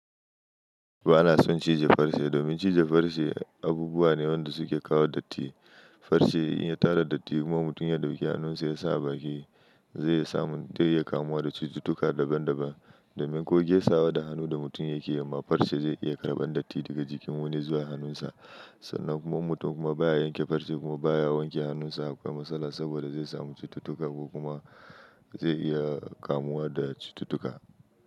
Ba na son cije farce domin cije farce abubuwa ne wanda suke kawo datti. Farce in ya tara datti kuma mutum ya ɗauki hannunsa ya sa a baki zai iya samu dai iya kamuwa da cututtuka daban daban. Domin ko ge sawa da hannu da mutum yake amma farce zai iya karɓan datti daga jikin wani zuwa hannunsa. Sannan kuma mutum kuma baya yanke farce kuma baya wanke hannunsa akwai matsala saboda zai samu cututtuka ko kuma zai iya kamuwa da cututtuka.